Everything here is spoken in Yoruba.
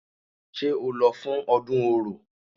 Ṣé o lọ fún ọdún Orò?